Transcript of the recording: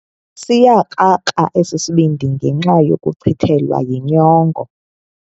Siyakrakra esi sibindi ngenxa yokuchithelwa yinyongo.